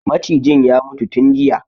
Macijin ya mutu tun jiya